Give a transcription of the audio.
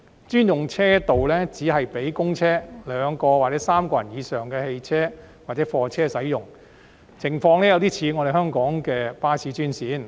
專用車道只是讓公車、載有2人或3人以上的私家車或貨車使用，情況有點像香港的巴士專線。